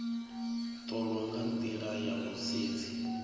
ṱolwa nga nḓila ya vhusedzi